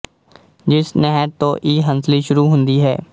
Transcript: ਜਿਸ ਨਹਿਰ ਤੋਂ ਇਹ ਹੰਸਲੀ ਸ਼ੁਰੂ ਹੁੰਦੀ ਹੈ